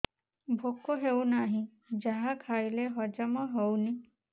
ଭୋକ ହେଉନାହିଁ ଯାହା ଖାଇଲେ ହଜମ ହଉନି